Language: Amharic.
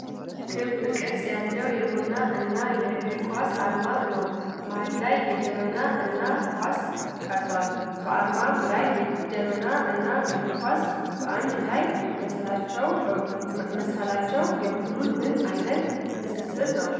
ክብ ቅርጽ ያለው የቡና እና እግር ኳስ ዓርማ ነው። መሃል ላይ ጄበና እና ኳስ ተቀርጸዋል። በዓርማው ላይ ጄበና እና እግር ኳስ በአንድ ላይ መሳላቸው የቡድኑን ምን አይነት ትስስር ነው?